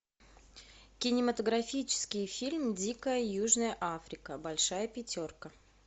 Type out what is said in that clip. кинематографический фильм дикая южная африка большая пятерка